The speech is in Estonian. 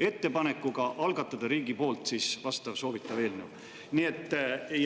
ettepanekuga algatada poolt soovitav eelnõu.